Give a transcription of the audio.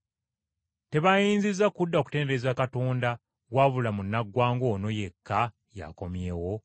Tebayinzizza kudda kutendereza Katonda wabula munnaggwanga ono yekka y’akomyewo?”